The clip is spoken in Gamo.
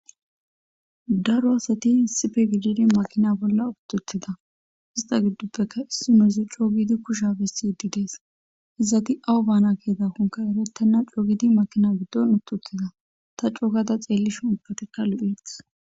Daro asati isipe gididi makina bola utiutida ita gidopeka issinozi c'oo gidi kushiya besi dees izati awu bana ke'idakonka nuni c'o'u gidi makina gidon utiwotida ta c'o'u gada xelishe ubatika lo'etes.